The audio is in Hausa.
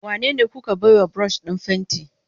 Wanene kuka baiwa brush din fenti?